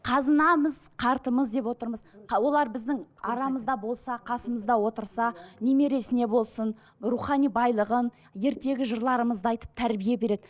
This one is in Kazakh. қазынамыз қартымыз деп отырмыз олар біздің арамызда болса қасымызда отырса немересіне болсын рухани байлығын ертегі жырларымызды айтып тәрбие береді